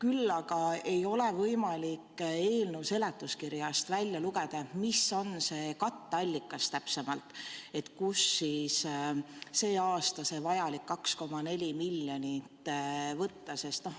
Samas ei ole võimalik eelnõu seletuskirjast välja lugeda, mis on see katteallikas, kust sel aastal saaks need 2,4 miljonit võtta.